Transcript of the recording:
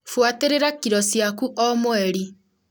Buatĩrĩra kĩro ciaku o mweri.